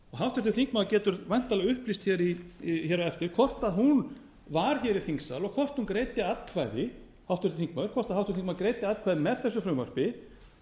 háttvirtur þingmaður getur væntanlega upplýst hér á eftir hvort hún var hér í þingsal og hvort hún greiddi atkvæði hvort háttvirtur þingmaður greiddi atkvæði með þessu frumvarpi